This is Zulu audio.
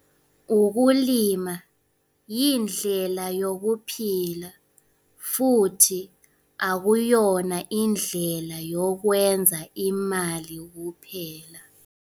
Ukulima yindlela yokuphila futhi akuyona indlela yokwenza imali kuphela.